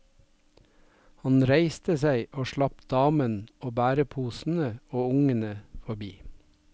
Han reiste seg og slapp damen og bæreposene og ungen forbi.